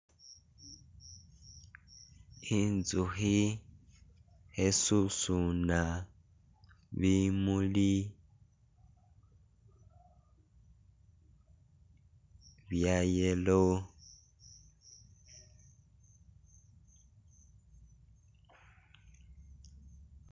Inzuhi hesusuna bimuli bya yellow